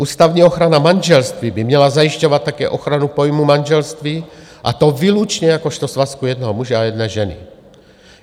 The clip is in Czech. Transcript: Ústavní ochrana manželství by měla zajišťovat také ochranu pojmu manželství, a to výlučně jakožto svazku jednoho muže a jedné ženy.